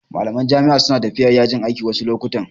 Malaman jami'a su na tafiya yajin aiki wasu lokutan